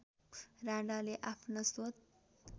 राणाले आफ्ना स्व